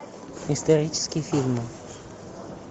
исторические фильмы